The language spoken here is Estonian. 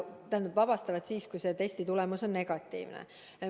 Tähendab, vabastavad siis, kui testi tulemus on negatiivne.